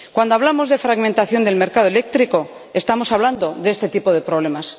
Cuando hablamos de fragmentación del mercado eléctrico, estamos hablando de este tipo de problemas.